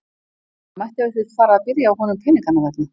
Það mætti ef til vill fara að byrja á honum peninganna vegna.